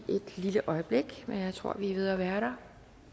et lille øjeblik men jeg tror vi er ved at være der